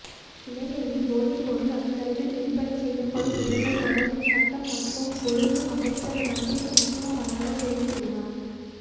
இலங்கையில் போதைப்பொருள் அதிகளவில் விற்பனை செய்யப்படும் இடங்கள் தொடர்பில் சட்டம் மற்றும் ஒழுங்கு அமைச்சர் ரஞ்சித் மத்துமபண்டார தெரிவித்துள்ளார்